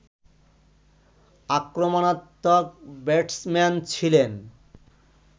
আক্রমণাত্মক ব্যাটসম্যান ছিলেন